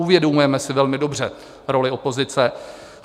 Uvědomujeme si velmi dobře roli opozice.